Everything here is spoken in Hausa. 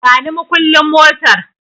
Bani makulli motar